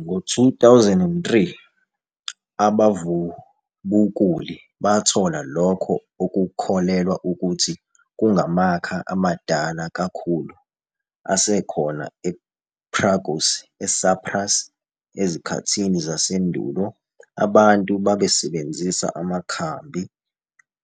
Ngo-2003, abavubukuli bathola lokho okukholelwa ukuthi kungamakha amadala kakhulu asekhona ePyrgos, eCyprus. Ezikhathini zasendulo abantu babesebenzisa amakhambi